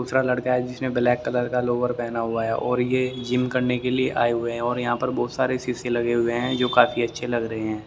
दूसरा लड़का है जिसने ब्लैक कलर का लोअर पहना हुआ है और ये जिम करने के लिए आए हुए हैं और यहां पर बहुत सारे शीशे लगे हुए हैं जो काफी अच्छे लग रहे हैं।